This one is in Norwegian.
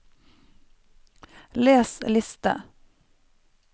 les liste